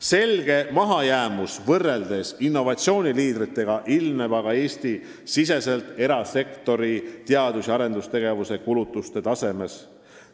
Selge mahajäämus võrreldes innovatsiooniliidritega ilmneb aga Eesti-siseste erasektori teadus- ja arendustegevuse kulutuste tasemes.